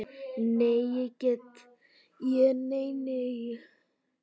Nei, ég nenni því ekki